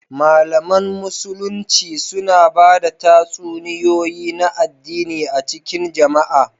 Malaman Musulunci suna ba da tatsuniyoyi na addini a cikin jama'a